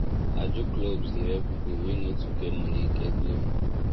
ajo clubs dey help people wey no too get money get loan